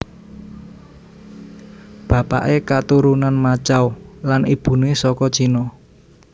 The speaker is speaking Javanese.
Bapaké katurunan Macau lan ibuné saka Cina